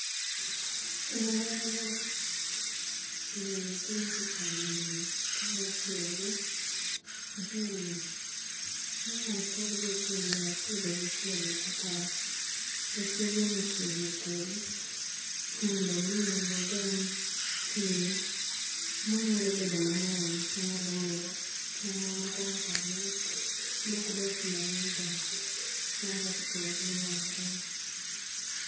Ee aluora wa, jii timo tich aina ni ka otiyo gi jwelni minyalo pog go kind pwotho gi pwotho kata e kenge mopogi opogi mondo omi wageng' pii manyalo bedo mang'eny manyalo miyo cham mamoko kaka alot mok dwa pii mang'eny dongo nano e kaka itimo tijni e aluora wa.